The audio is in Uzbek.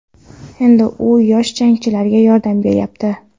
Endi u yosh jangchilarga yordam beryapti.